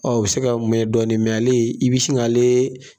Ɔ o bɛ se ka mɛn dɔɔnin nka ale i bɛ sin k'ale